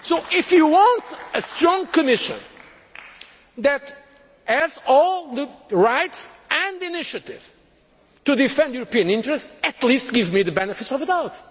about it. If you want a strong Commission that has all the rights and initiative to defend European interests, at least give me the benefit of